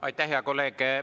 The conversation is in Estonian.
Aitäh, hea kolleeg!